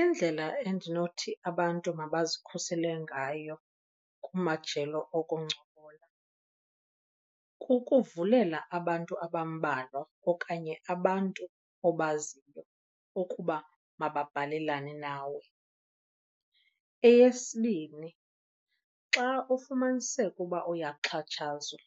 Indlela endinothi abantu mabazikhusele ngayo kumajelo okuncokola kukuvulela abantu abambalwa okanye abantu obaziyo ukuba mababhalelane nawe. Eyesibini, xa ufumaniseka uba uyaxhatshazwa